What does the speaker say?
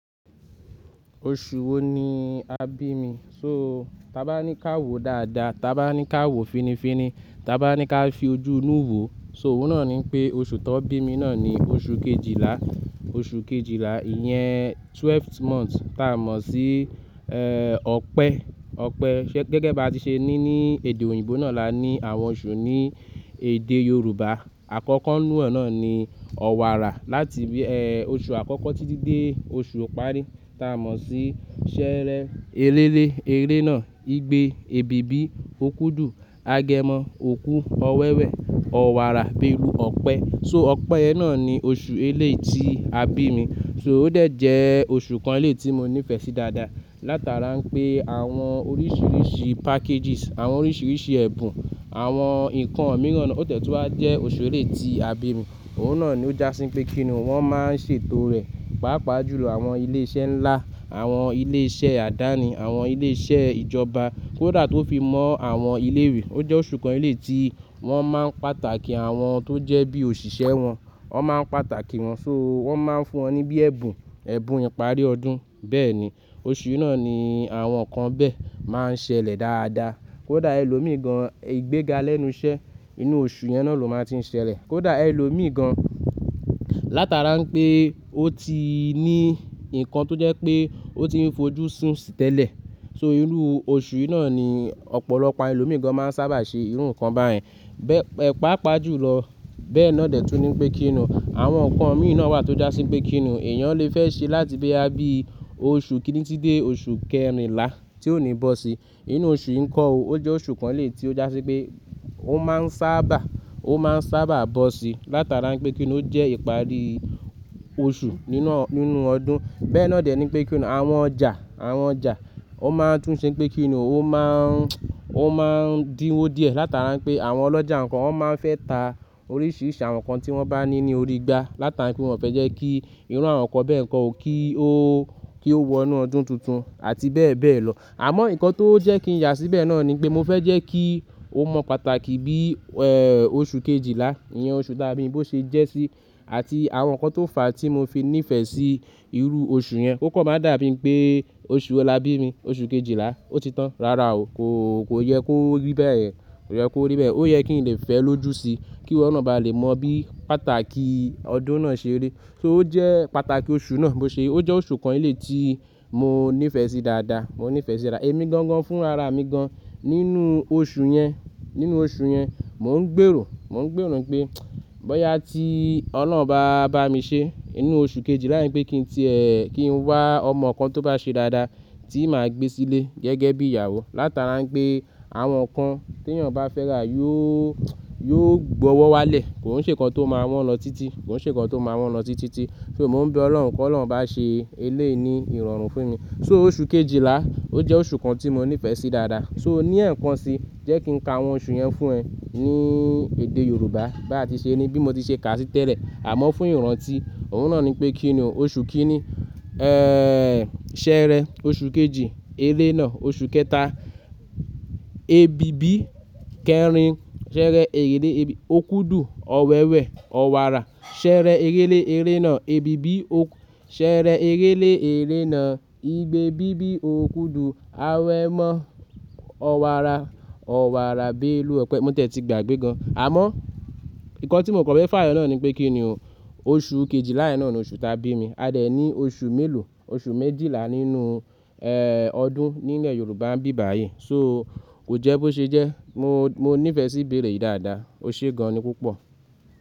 Oṣù wo ni a bí mi? So, ta bá ní ká wò dáadáa, ta bá ní ká wò finifini, ta bá ní ká fi ojú inú wo. So òun náà ní pé oṣù tó bí mi náà ni oṣù kejìlá. Oṣù kejìlá ìyẹn twelfth month tá mọ̀ sí, eh, ọpẹ́. Ọpẹ́ gẹ́gẹ́ bí a ti ṣe ní ní èdè òyìnbó náà la ní àwọn oṣù ní èdè Yorùbá. Àkọ́kọ́ nínú ẹ̀ náà ni ọwàrà láti bí, eh, oṣù àkọ́kọ́ títí dé oṣù òparí ta mọ̀ sí ṣẹẹrẹ. Eré lé eré náà, igbe, ebibi, okudu, agẹmọ, òkú, ọwẹ́wẹ, ọwàrà, bèlu, ọpẹ́. So ọpẹ́ náà ni oṣù ẹlẹ́ẹ̀ tí a bí mi. So ó dẹ̀ jẹ́ oṣù kan lè tí mo nífẹ̀ẹ́ sí dáadáa. Látara pé àwọn oríṣìíríṣìí packages, àwọn oríṣìíríṣìí ẹ̀bùn, àwọn ǹkan mìíràn, ó tẹ̀túá jẹ́ oṣù ẹlẹ́ẹ̀ tí a bí mi. Òun náà ni ó jásí pé kí ni wọ́n máa ń ṣètò rẹ̀. Pápa jù lọ àwọn ilé iṣẹ́ ńlá, àwọn ilé iṣẹ́ àdáni, àwọn ilé iṣẹ́ ìjọba, kódà tó fi mọ́ àwọn ilé ìwé. Ó jẹ́ oṣù kan lè tí wọ́n máa ń pàtàkì àwọn tó jẹ́ bí òṣìṣẹ́ wọn. Wọ́n máa ń pàtàkì wọn, so wọ́n máa ń fún wọn ní bí ẹbùn, ẹbùn ìparí ọdún. Bẹ́ẹ̀ ni, oṣù náà ni àwọn nǹkan bẹ́ẹ̀ máa ń ṣẹlẹ̀ dáadáa. Kódà ẹlòmíìgan ìgbéga lẹ́nu iṣẹ́ inú oṣù yẹn náà ló máa ń tí ń ṣẹlẹ̀. Kódà ẹlòmíìgan látara pé ó ti ní ǹkan tó jẹ́ pé ó ti ń fojú sún tẹ́lẹ̀. So inú oṣù náà ni ọ̀pọ̀lọpọ̀ ẹlòmíìgan máa ń sábà ṣe irú nǹkan báyìí. Bẹ́ẹ̀, ẹpápa jù lọ. Bẹ́ẹ̀ náà dẹ̀ tún ní pé kí ni àwọn nǹkan mìíràn wà tó jásí pé kí ni èèyàn lè fẹ́ ṣe láti bí a bí i. Oṣù kìíní títí dé oṣù kẹrinlá tí ó ní bọ́si. Inú oṣù ìkọò, ó jẹ́ oṣù kan lè tí ó jásí pé ó máa ń sábà, ó máa ń sábà bọ́si látara pé kí ni ó jẹ́ ìparí oṣù nínú ọdún. Bẹ́ẹ̀ náà dẹ̀ ni pé kí ni àwọn ọjà, àwọn ọjà ó máa ń tún ṣe pé kí ni ó máa ń, ó máa ń díwọ́ díẹ̀ látara pé àwọn ọlọ́jà nǹkan wọ́n máa ń fẹ́ ta oríṣìíríṣìí àwọn nǹkan tí wọ́n bá ní ní orí igbá látara pé wọ́n fẹ́ jẹ́ kí irú àwọn nǹkan bẹ́ẹ̀ kọ́ ò kí ó, kí ó wọ inú ọdún tuntun àti bẹ́ẹ̀ bẹ́ẹ̀ lọ. Àmọ́ ǹkan tó jẹ́ kí ǹ yà síbẹ̀ náà ni pé mo fẹ́ jẹ́ kí ó mọ pàtàkì bí, eh, oṣù kejìlá, ìyẹn oṣù tá bí mi bó ṣe jẹ́ sí àti àwọn nǹkan tó fà á tí mo fi nífẹ̀ẹ́ sí irú oṣù yẹn. Ó kò máa dàbí pé oṣù wo la bí mi, oṣù kejìlá. Ó ti tán. Rárá o, kò, kò yẹ kó rí bẹ́ẹ̀ ye. Kò yẹ kó rí bẹ́ẹ̀. Ó yẹ kí n lè fẹ́ ẹ lójú síí, kí ọ̀na bá lè mọ bí pàtàkì ọdún náà ṣe rí. So ó jẹ́ pàtàkì oṣù náà bó ṣe, ó jẹ́ oṣù kan lè tí mo nífẹ̀ẹ́ sí dáadáa, mo nífẹ̀ẹ́ sí dáadáa. Èmi gangan fún ara mi gan. Inú oṣù yẹn, inú oṣù yẹn mo ń gbèrò, mo ń gbèrò pé bóyá tí Ọlọ́run bá bá mi ṣe inú oṣù kejìlá yẹn pé kí n ti, eh, kí n wá ọmọ kan tó bá ṣe dáadáa tí màá gbé sílé gẹ́gẹ́ bí ìyàwó látara pé àwọn nǹkan tí èèyàn bá fẹ́ rà yóò, yóò gbọ̀wọ́ wá lẹ̀. Kò sí ǹkan tó máa wọ́n lọ títí, kò sí ǹkan tó máa wọ́n lọ títí títí. So mo ń bẹ Ọlọ́run pé kó Ọlọ́run bá ṣe eléyìí ní ìrọ̀rùn fún mi. So oṣù kejìlá ó jẹ́ oṣù kan tí mo nífẹ̀ẹ́ sí dáadáa. So ní ẹ̀kan si jẹ́ kí n ka àwọn oṣù yẹn fún ẹ ní èdè Yorùbá. Bá ti ṣe ni bí mo ti ṣe kà á títẹ̀lẹ̀. Àmọ́ fún ìrántí, òun náà ni pé kí ni oṣù kìíní, eh, ṣẹẹrẹ oṣù kejì, eré náà oṣù kẹta, ebibi kẹrin, ṣẹẹrẹ ẹrẹ̀lé ebi, okudu, ọwẹ́wẹ, ọwàrà, ṣẹẹrẹ ẹrẹ̀lé eré náà, ebibi, ṣẹẹrẹ ẹrẹ̀lé eré náà, igbe, bíbí, okudu, awẹ́mọ́, ọwàrà, ọwàrà, bèlu, ọpẹ́. Mo tẹ̀tì gbàgbé gan. Àmọ́ ǹkan tí mo kọ̀ fé fàyè náà ni pé kí ni oṣù kejìlá yẹn náà ni oṣù tá bí mi. A dẹ̀ ní oṣù méèló, oṣù méjìlá nínú, eh, ọdún nínú ilẹ̀ Yorùbá ń bí báyìí. So ó jẹ́ bó ṣe jẹ́, mo, mo nífẹ̀ẹ́ sí ìbéèrè yìí dáadáa. O ṣe gan ni púpọ̀.